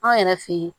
Anw yɛrɛ fe ye